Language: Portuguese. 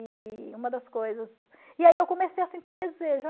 E uma das coisas... E aí eu comecei a sentir desejo.